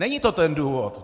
Není to ten důvod?